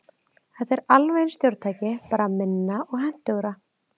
Þetta er alveg eins stjórntæki, bara minna og hentugra.